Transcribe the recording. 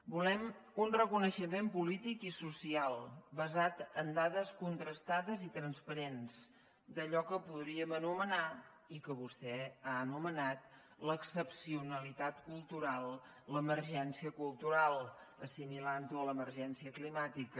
volem un reconeixement polític i social basat en dades contrastades i transparents d’allò que en podríem anomenar i que vostè ha anomenat l’excepcionalitat cultural l’emergència cultural assimilant ho a l’emergència climàtica